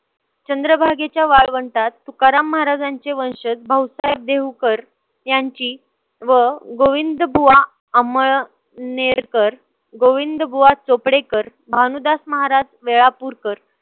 चंद्रभागेच्या वाळवंटात तुकाराम महाराजांचे वंशज भाऊसाहेब देवूकर यांची व गोविंदबुवा आंमळ नेरकर गोविंदबुवा चोपडेकर, भानुदास महाराज वेळापूरकर